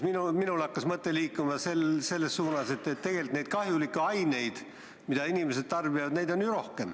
Minul hakkas mõte liikuma selles suunas, et neid kahjulikke aineid, mida inimesed tarbivad, on ju rohkem.